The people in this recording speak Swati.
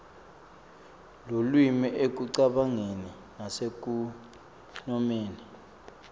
lulwimi ekucabangeni nasekunomeni